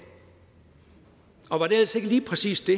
og var det ellers ikke lige præcis det